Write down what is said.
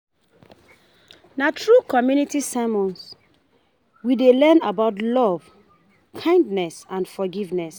Na through community sermons, we dey learn about love, kindness, and forgiveness.